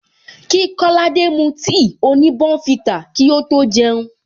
Kí kolade mu tea oni bournvita kí ó tó jeun